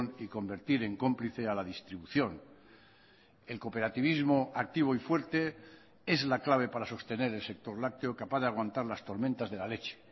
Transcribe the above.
y convertir en cómplice a la distribución el cooperativismo activo y fuerte es la clave para sostener el sector lácteo capaz de aguantar las tormentas de la leche